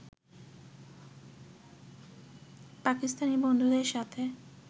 পাকিস্তানি বন্ধুদের সাথে